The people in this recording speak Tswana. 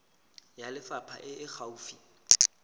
ya lefapha e e gaufi